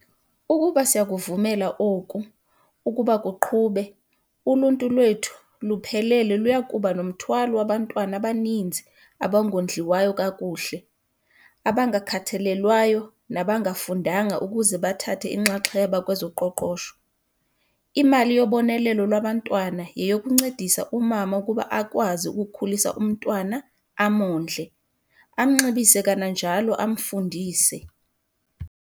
Ukuba siyakuvumela oku ukuba kuqhube, uluntu lwethu luphelele luya kuba nomthwalo wabantwana abaninzi abangondliwa kakuhle, abangakhathalelwayo nabangafundanga ukuze bathathe inxaxheba kwezoqoqosho. Imali yobonelelo lwabantwana yeyokuncedisa umama ukuba akwazi ukukhulisa umntwana - amondle, amnxibise kananjalo amfundise.